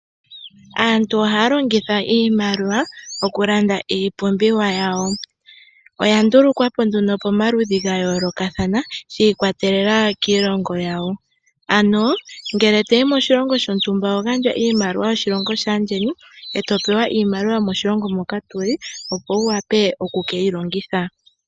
Aantu oha ya longitha iimaliwa okulanda iipumbiwa yawo oya ndulukwapo nduno pomaludhi ga yoolokathana shiikwatelela kiilongo yawo ano ngele toyi moshilongo shontumba oho gandja iimaliwa yoshilongo shaayeni e to pewa iimaliwa yomoshilongo moka to yi opo wu wape okukeyi longitha.